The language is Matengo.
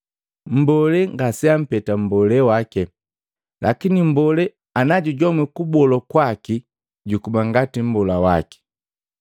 Mbolee ngaseampeta mmbola wake, lakini mbolee anajujomwi kubolwa kwaki jukuba ngati mmbola wake.